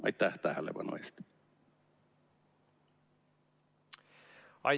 Aitäh tähelepanu eest!